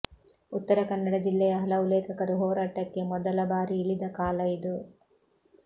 ಉತ್ತರ ಕನ್ನಡ ಜಿಲ್ಲೆಯ ಹಲವು ಲೇಖಕರು ಹೋರಾಟಕ್ಕೆ ಮೊದಲ ಬಾರಿ ಇಳಿದ ಕಾಲ ಇದು